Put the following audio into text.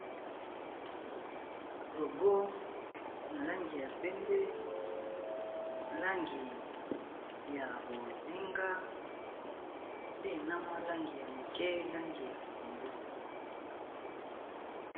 Logo na langi ya pembe, langi ya bozinga pe na mwa langi ya moke, langi ya pundu .